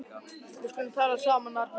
Við skulum tala saman, Arnar minn.